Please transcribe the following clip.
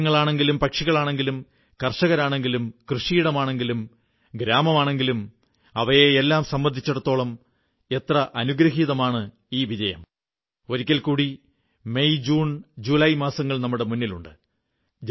മൃഗങ്ങളാണെങ്കിലും പക്ഷികളാണെങ്കിലും കർഷകരാണെങ്കിലും കൃഷിയിടമാണെങ്കിലും ഗ്രാമമാണെങ്കിലും അവയെയെല്ലാം സംബന്ധിച്ചിടത്തോളം എത്ര അനുഗ്രഹീതമാണ് ഈ വിജയം ഒരിക്കൽകൂടി ഏപ്രിൽ മെയ് ജൂൺ ജൂലായ് മാസങ്ങൾ നമ്മുടെ മുന്നിലുണ്ട്